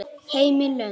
Heim í Lund.